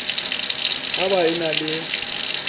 ha ba e na le